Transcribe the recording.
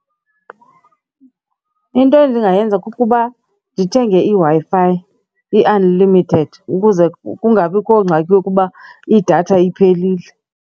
Into endingayenza kukuba ndithenge iWi-Fi, i-unlimited, ukuze kungabikho ngxaki yokuba idatha iphelile.